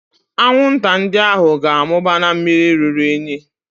Anwụnta ndị ahụ ga-amụba na mmiri ruru unyi